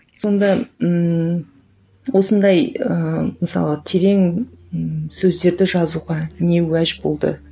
сонда ммм осындай ыыы мысалы терең ііі сөздерді жазуға не уәж болды